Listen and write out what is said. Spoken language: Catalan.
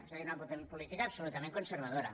és a dir una política absolutament conservadora